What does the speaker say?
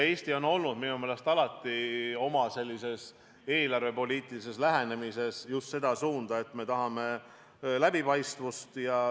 Eesti on minu meelest oma eelarvepoliitilises lähenemises järginud alati just seda suunda, et me tahame läbipaistvust.